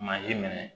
minɛ